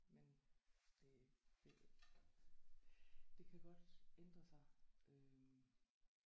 Men det det det kan godt ændre sig øh